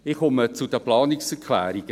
Ich komme zu den Planungserklärungen.